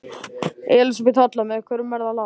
Elísabet Hall: Með hverjum er það lag?